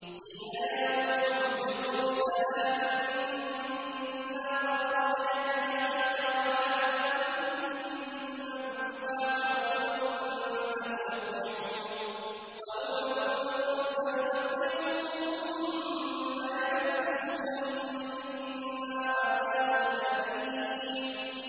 قِيلَ يَا نُوحُ اهْبِطْ بِسَلَامٍ مِّنَّا وَبَرَكَاتٍ عَلَيْكَ وَعَلَىٰ أُمَمٍ مِّمَّن مَّعَكَ ۚ وَأُمَمٌ سَنُمَتِّعُهُمْ ثُمَّ يَمَسُّهُم مِّنَّا عَذَابٌ أَلِيمٌ